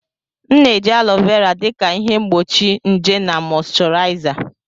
M na-eji alo vera dị ka ihe mgbochi nje na mọịshọraịza.